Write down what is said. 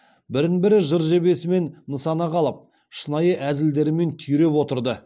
бірін бірі жыр жебесімен нысанаға алып шынайы әзілдерімен түйреп отырды